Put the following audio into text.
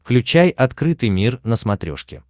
включай открытый мир на смотрешке